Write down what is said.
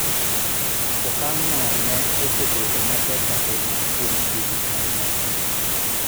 Okang'no ne osebedo matek ahinya kuom hingni mang'eny.